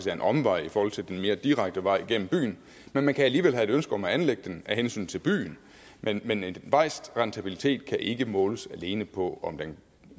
er en omvej i forhold til den mere direkte vej igennem byen men man kan alligevel have et ønske om at anlægge den af hensyn til byen men men en vejs rentabilitet kan ikke måles alene på